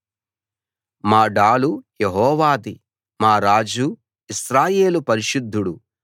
మా డాలు యెహోవాది మా రాజు ఇశ్రాయేలు పరిశుద్ధుడు